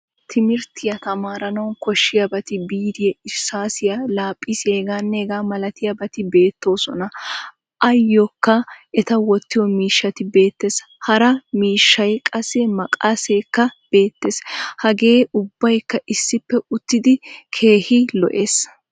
Timirttiyaa tamaaranawu koshshiyabatti biiriyaa, irsaasiyaa, laaphphisiyaa h.h.milaatiyabati beetosona. Ayokka eta wottiyo miishshay beetees. Hara miishshay qassi maqqaseekka beettees. Hagee ubbaykka issippe uttidi keehin lo"ees.